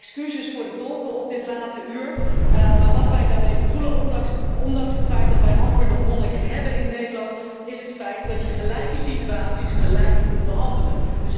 Excuses voor de tolken op dit late uur, maar wat wij daarmee bedoelen, ondanks het feit dat wij amper nog monniken hebben in Nederland, is het feit dat je gelijke situaties gelijk moet behandelen.